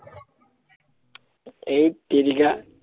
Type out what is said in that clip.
এইত তেৰিকা